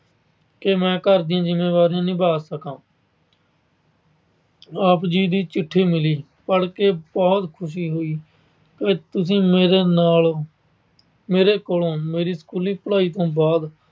ਕਿ ਮੈਂ ਘਰ ਦੀਆਂ ਜਿੰਮੇਵਾਰੀਆਂ ਨਿਭਾ ਸਕਾ। ਆਪ ਜੀ ਦੀ ਚਿੱਠੀ ਮਿਲੀ, ਪੜ੍ਹ ਕੇ ਬਹੁਕ ਖੁਸ਼ੀ ਹੋਈ ਕਿ ਤੁਸੀਂ ਮੇਰੇ ਨਾਲ ਓ। ਮੇਰੇ ਕੋਲੋਂ ਮੇਰੀ ਸਕੂਲੀ ਪੜ੍ਹਾਈ ਤੋਂ ਬਾਅਦ